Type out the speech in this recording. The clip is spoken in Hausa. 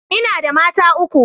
ina da mata uku